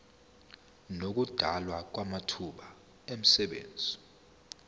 nokudalwa kwamathuba emisebenzi